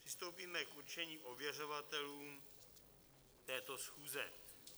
Přistoupíme k určení ověřovatelů této schůze.